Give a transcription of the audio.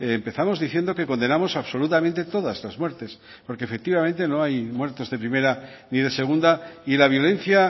empezamos diciendo que condenamos absolutamente todas las muertes porque efectivamente no hay muertos de primera ni de segunda y la violencia